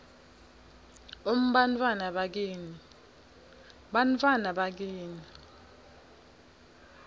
um bantfwana bakini